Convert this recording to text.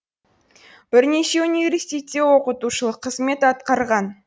бірнеше университетте оқытушылық қызмет атқарған